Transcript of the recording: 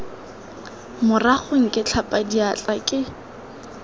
maragong ke tlhapa diatla ke